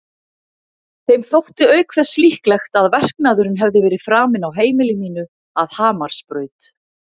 Þeim þótti auk þess líklegt að verknaðurinn hefði verið framinn á heimili mínu að Hamarsbraut.